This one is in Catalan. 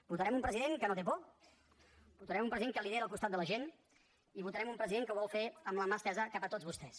votarem un president que no té por votarem un president que lidera al costat de la gent i votarem un president que ho vol fer amb la mà estesa cap a tots vostès